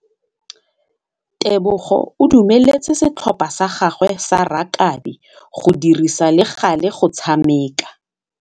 Tebogô o dumeletse setlhopha sa gagwe sa rakabi go dirisa le galê go tshameka.